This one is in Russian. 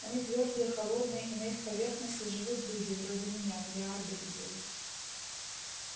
они твёрдые холодные и на их поверхности живут люди вроде меня миллиарды людей